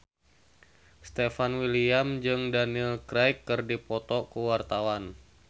Stefan William jeung Daniel Craig keur dipoto ku wartawan